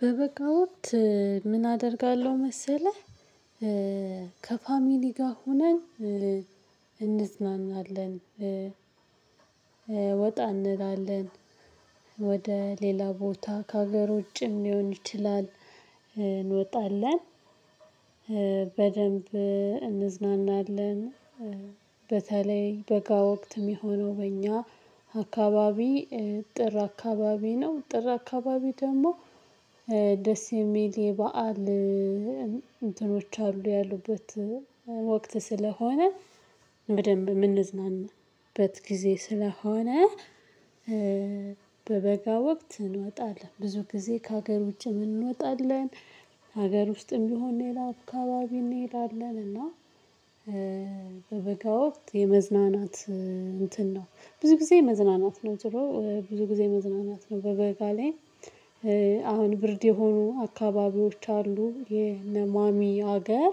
በበጋ ምን አደርጋለሁ መሰለህ? ከፋሚሊ ጋር ሆነን እንዝናናለን ወጣ እንላለን ወደ ሌላ ቦታ ከሀገር ውጭም ሊሆን ይችላል እንወጣለን በደንብ እንዝናናለን። በተለይ በጋ ወቅት የሚሆነው በእኛ አካባቢ ጥር አካባቢ ነው። ጥር አካባቢ ደግሞ ደስ የሚል የበአል እንትኖች አሉ ያሉበት ወቅት ስለሆነ በደንብ የምንዝናናበት ጊዜ ስለሆነ። በበጋ ወቅት እንወጣለን ብዙ ጊዜ ከሀገር ውጪ እንወጣለን ሀገር ውስጥም ቢሆን ሌላ አአካባቢ እንሄዳለን። እና በበጋ ወቅት የመዝናናት እንትን ነው ብዙ ጊዜ የመዝናናት ነው ዙሮ ብዙ ጊዜ የመዝናናት ነው በበጋ ላይ። አሁን ብርድ የሆኑ አካባቢዎች አሉ የነማሚ ሀገር።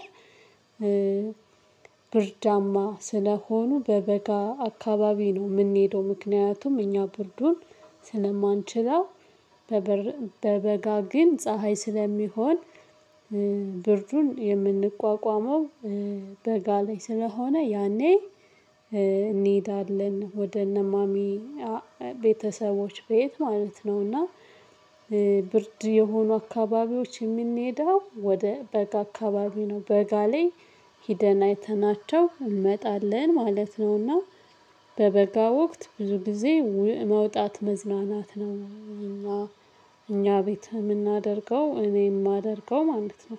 ብርዳማ ስለሆኑ በበጋ አካባቢ ነው የምንሄደው ምክንያቱም እኛ ብርዱን ስለማንችለው። በበጋ ግን ፀሀይ ስለሚሆን ብርዱን የምንቋቋመው በጋ ላይ ስለሆነ ያኔ እንሄዳለን ወደ እነ ማሚ ቤተሰቦች ቤት ማለት ነው። እና ብርድ የሆኑ አካባቢዎች የምንሄደው ወደ በጋ አካባቢ ነው በጋ ላይ ሂደን አይተናቸው እንመጣለን ማለት ነው። እና በበጋ ወቅት ብዙ ጊዜ መውጣት መዝናናት ነው። እኛ ቤት የምናደርገው እኔ የማደርገው ማለት ነው